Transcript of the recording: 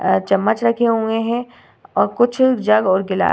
अ चम्मच रखे हुए हैं और कुछ जग और गिलास --